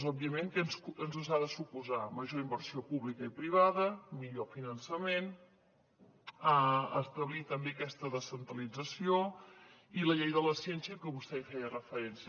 òbviament què ens ha de suposar major inversió pública i privada millor finançament establir també aquesta descentralització i la llei de la ciència a que vostè feia referència